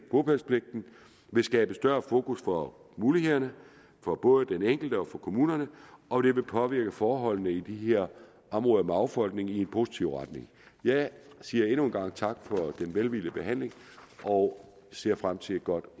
bopælspligten vil skabe større fokus på mulighederne for både den enkelte og for kommunerne og det vil påvirke forholdene i de her områder med affolkning i en positiv retning jeg siger endnu en gang tak for den velvillige behandling og ser frem til et godt